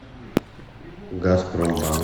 газпромбанк